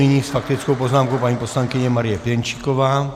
Nyní s faktickou poznámkou paní poslankyně Marie Pěnčíková.